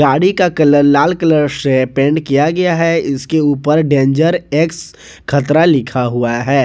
गाड़ी का कलर लाल कलर से पेंट किया गया है इसके ऊपर डेंजर एक्स खतरा लिखा हुआ है।